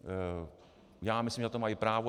Já myslím, že na to mají právo.